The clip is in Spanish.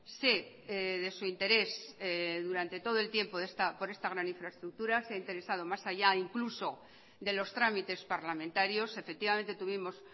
sé de su interés durante todo el tiempo por esta gran infraestructura se ha interesado más allá incluso de los tramites parlamentarios efectivamente tuvimos